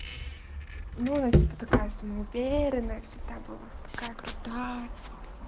ну она типа такая самоуверенная всегда была такая крутая